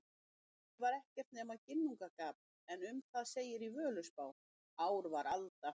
Í upphafi var ekkert nema Ginnungagap en um það segir í Völuspá: Ár var alda,